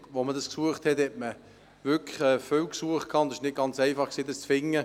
Als man damals eine Liegenschaft suchte, war es nicht ganz einfach, etwas zu finden.